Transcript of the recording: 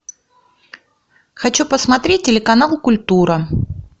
хочу посмотреть телеканал культура